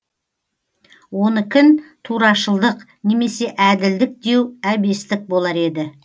онікін турашылдық немесе әділдік деу әбестік болар еді